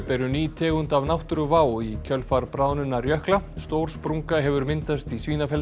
eru ný tegund af náttúruvá í kjölfar bráðnunar jökla stór sprunga hefur myndast í